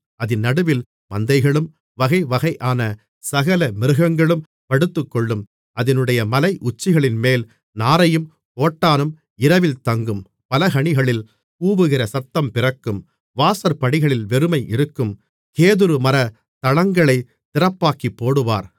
அதின் நடுவில் மந்தைகளும் வகைவகையான சகல மிருகங்களும் படுத்துக்கொள்ளும் அதினுடைய மலையுச்சிகளின்மேல் நாரையும் கோட்டானும் இரவில் தங்கும் பலகணிகளில் கூவுகிற சத்தம் பிறக்கும் வாசற்படிகளில் வெறுமை இருக்கும் கேதுருமரத் தளங்களைத் திறப்பாக்கிப்போடுவார்